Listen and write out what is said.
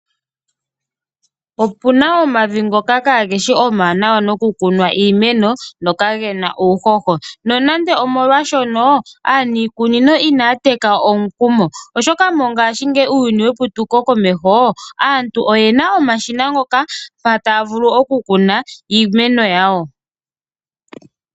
Opuna omavi ngoka ka geshi omawanawa noku kunwa iimeno no kagena uuhoho , nonando omolwa shono aanikunino ina yateka omukumo oshoka mongashingeyi uuyuni weputuko komeho aantu oyena omashina ngoka mpa tavulu okukuna iimeno yawo.